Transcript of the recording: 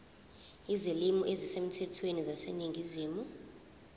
izilimi ezisemthethweni zaseningizimu